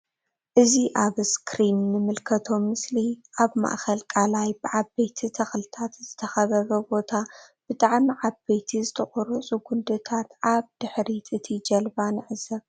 እዚ ኣብ እስክሪን እንምልከቶ ምስሊ ኣብ ማእከል ቃላይ ብ ዓበይቲ ተክልታት ዝተከበበ ቦታ ብጣዕሚ ዓበይቲ ዝተቆረጹ ጉንድታት ኣብ ድሕሪት እቲ ጃልባ ንዕዘብ።